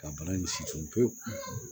Ka bana in situn pewu